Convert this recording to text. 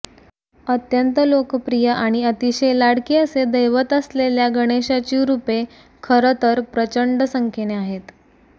अत्यंत लोकप्रिय आणि अतिशय लाडके असे दैवत असलेल्या गणेशाची रूपे खरं तर प्रचंड संख्येने आहेत